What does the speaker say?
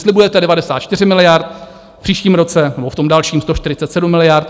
Slibujete 94 miliard, v příštím roce nebo v tom dalším 147 miliard.